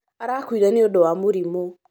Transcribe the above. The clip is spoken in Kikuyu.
arakuire nĩũndũ wa mũrimũ